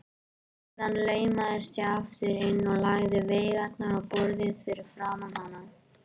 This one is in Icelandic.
Síðan laumaðist ég aftur inn og lagði veigarnar á borðið fyrir framan hana.